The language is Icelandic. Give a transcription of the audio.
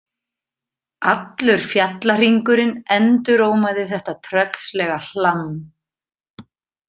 Allur fjallahringurinn endurómaði þetta tröllslega hlamm.